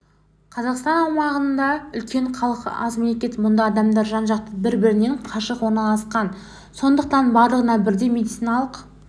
қазақстан аумағы үлкен халқы аз мемлекет мұнда адамдар жан-жақта бір-бірінен қашық орналасқан сондықтан барлығына бірдей медициналық